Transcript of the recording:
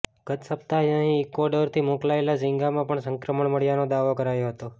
ગત સપ્તાહે અહીં ઈક્વાડોરથી મોકલાયેલા ઝીંગામાં પણ સંક્રમણ મળ્યાનો દાવો કરાયો હતો